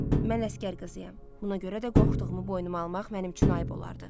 mən əsgər qızıyayam. Buna görə də qorxduğumu boynuma almaq mənim üçün ayib olardı.